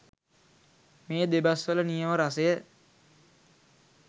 මේ දෙබස්වල නියම රසය